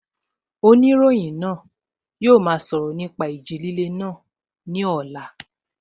Oníròyìn náà yóò máa sọ̀rọ̀ nípa ìjì líle náà ní ọ̀la